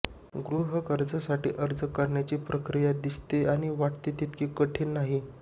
गृहकर्जासाठी अर्ज करण्याची प्रक्रिया दिसते आणि वाटते तितकी कठीण नाही